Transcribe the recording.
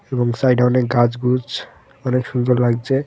এবং সাইডে অনেক গাছগুছ অনেক সুন্দর লাগছে .